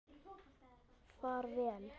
Far vel!